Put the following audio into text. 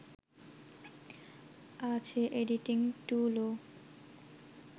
আছে এডিটিং টুলও